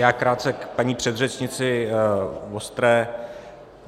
Já krátce k paní předřečnici Vostré.